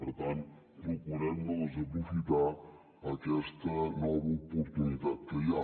per tant procurem no desaprofitar aquesta nova oportunitat que hi ha